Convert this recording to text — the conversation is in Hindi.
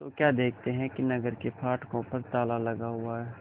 तो क्या देखते हैं कि नगर के फाटकों पर ताला लगा हुआ है